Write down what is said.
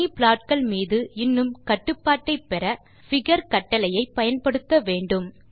தனி ப்லாட்கள் மீது இன்னும் கட்டுப்பாட்டை பெற பிகர் கட்டளையை பயன்படுத்த வேண்டும்